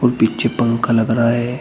और पीछे पंखा लग रहा है।